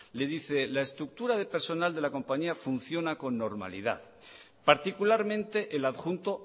le dice la estructura de personal de la compañía funciona con normalidad particularmente el adjunto